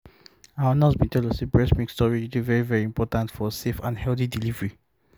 our nurse been tell us say breast milk storage dey very very important for safe and healthy delivery